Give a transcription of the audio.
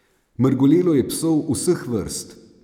Mrgolelo je psov vseh vrst.